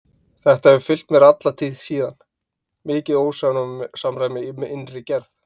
Þetta hefur fylgt mér alla tíð síðan, mikið ósamræmi í innri gerð.